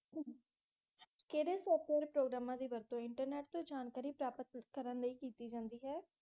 ਕਿਹੜੇ ਸੋਫਟਵੇਅਰ ਪ੍ਰੋਗਰਾਮਾਂ ਦੀ ਵਰਤੋਂ ਇੰਟਰਨੇਟ ਤੋਂ ਜਾਣਕਾਰੀ ਪ੍ਰਾਪਤ ਕਰਨ ਲਈ ਕੀਤੀ ਜਾਂਦੀ ਹੈ?